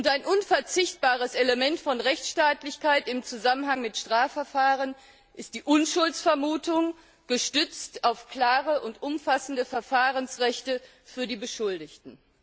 Ein unverzichtbares Element von Rechtsstaatlichkeit im Zusammenhang mit Strafverfahren ist die Unschuldsvermutung, gestützt auf klare und umfassende Verfahrensrechte für die Beschuldigten.